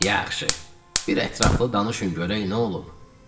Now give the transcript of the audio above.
Yaxşı, bir ətraflı danışın görək nə olub.